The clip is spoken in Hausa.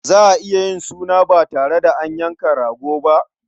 Za a iya yin suna ba tare da an yanka rago ba?